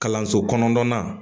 Kalanso kɔnɔna